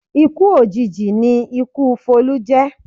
Ikú òjijì ni ikú Folú jẹ̀